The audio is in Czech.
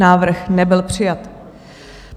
Návrh nebyl přijat.